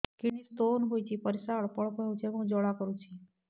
kidney stone ହୋଇଛି ପରିସ୍ରା ଅଳ୍ପ ଅଳ୍ପ ହେଉଛି ଏବଂ ଜ୍ୱାଳା କରୁଛି